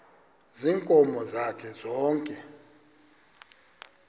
ziinkomo zakhe zonke